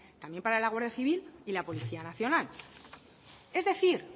también para la guardia civil y la policía nacional es decir